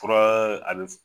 Kɔrɔ a bɛ.